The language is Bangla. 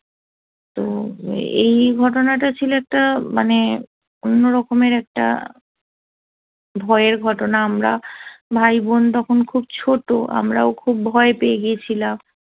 তো এই ঘটনাটা ছিল একটা মানে অন্যরকমের একটা ভয়ের ঘটনা আমরা ভাই-বোন তখন খুব ছোট আমরাও খুব ভয় পেয়ে গিয়েছিলাম